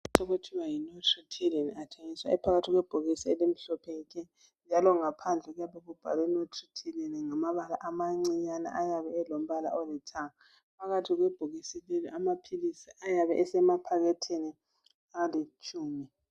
Amaphilisi okuthiwa yiNoptryline athengiswa esebhokisini elimhlophe nke. Njalo ngaphandle kuyabe kubhalwe Nortriptyline ngamabala amancinyane alithanga. Phakathi kwebhokisi leli amaphilisi ayabe esemaphaketheni alitshumi.